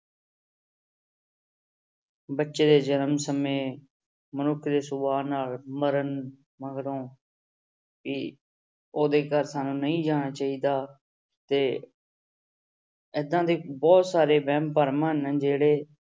ਬੱਚੇ ਦੇ ਜਨਮ ਸਮੇਂ ਮਨੁੱਖ ਦੇ ਸੁਭਾਅ ਨਾਲ ਮਰਨ ਮਗਰੋਂ ਵੀ ਉਹਦੇ ਘਰ ਸਾਨੂੰ ਨਹੀਂ ਜਾਣਾ ਚਾਹੀਦਾ ਤੇ ਏਦਾਂ ਦੇ ਬਹੁਤ ਸਾਰੇ ਵਹਿਮ ਭਰਮ ਹਨ ਜਿਹੜੇ